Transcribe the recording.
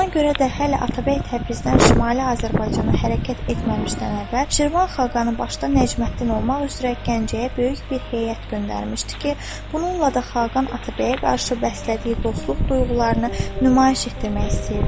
Buna görə də hələ Atabəy Təbrizdən Şimali Azərbaycana hərəkət etməmişdən əvvəl Şirvan xaqanı başda Nəcməddin olmaq üzrə Gəncəyə böyük bir heyət göndərmişdi ki, bununla da xaqan Atabəyə qarşı bəslədiyi dostluq duyğularını nümayiş etdirmək istəyirdi.